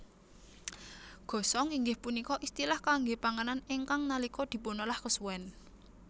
Gosong inggih punika istilah kangge panganan ingkang nalika dipunolah kesuwen